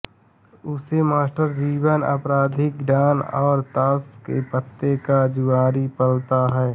उसे मास्टर जीवन आपराधिक डॉन और ताश के पत्ते का जुआरी पालता है